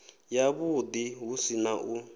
yavhuḓi hu si na u